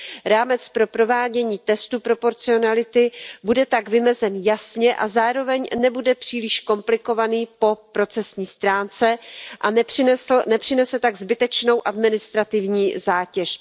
Rámec pro provádění testu proporcionality bude tak vymezen jasně a zároveň nebude příliš komplikovaný po procesní stránce a nepřinese tak zbytečnou administrativní zátěž.